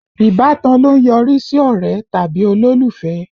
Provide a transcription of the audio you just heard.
Ìbátan ló ń yọrí sí ọ̀rẹ́ tàbí olólùfẹ́